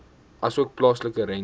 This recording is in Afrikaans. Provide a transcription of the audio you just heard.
asook plaaslike rente